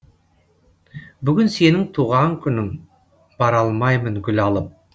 бүгін сенің туған күнің бара алмаймын гүл алып